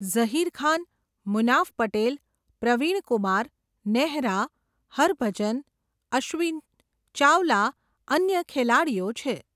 ઝહિરખાન, મુનાફ પટેલ, પ્રવીણ કુમાર, નેહરા, હરભજન, અશ્વીન, ચાવલા અન્ય ખેલાડીઓ છે.